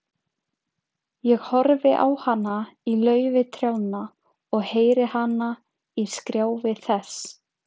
Ég horfi á hana í laufi trjánna og heyri hana í skrjáfi þess.